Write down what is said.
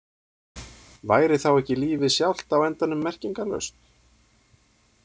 Væri þá ekki lífið sjálft á endanum merkingarlaust?